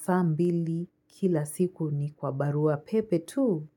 saa mbili kila siku ni kwa barua pepe tu.